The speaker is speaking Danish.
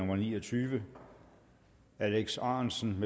ni og tyve alex ahrendtsen